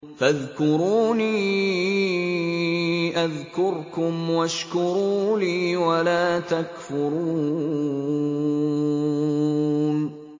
فَاذْكُرُونِي أَذْكُرْكُمْ وَاشْكُرُوا لِي وَلَا تَكْفُرُونِ